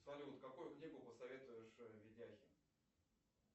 салют какую книгу посоветуешь видяхе